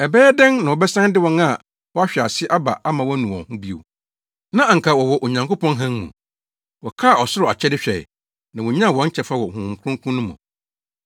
Ɛbɛyɛ dɛn na wɔbɛsan de wɔn a wɔahwe ase aba ama wɔanu wɔn ho bio? Na anka wɔwɔ Onyankopɔn hann mu. Wɔkaa ɔsoro akyɛde hwɛe, na wonyaa wɔn kyɛfa wɔ Honhom Kronkron no mu.